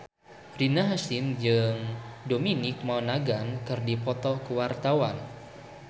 Rina Hasyim jeung Dominic Monaghan keur dipoto ku wartawan